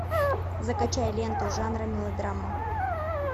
закачай ленту жанра мелодрама